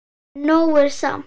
Nóg er samt.